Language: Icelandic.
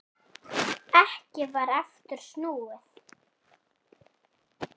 Ekki var aftur snúið.